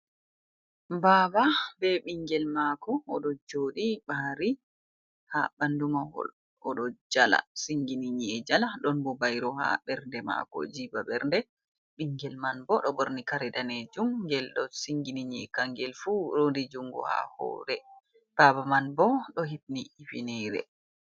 Baba be ɓingel mako oɗo jooɗi ɓari ha ɓandu mahol oɗo jala singini nyi'e jala, ɗon bo bairo ha ɓernde maako jiiba ɓernde bingel man bo ɗo borni kare danejum ngel ɗo singini kangel fu rondi juungu ha hoore, Baba man bo ɗo hifni hifineere.